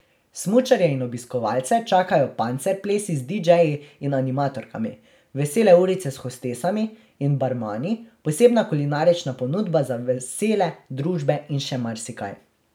Smučarje in obiskovalce čakajo pancer plesi z didžeji in animatorkami, vesele urice s hostesami in barmani, posebna kulinarična ponudba za vesele družbe in še marsikaj.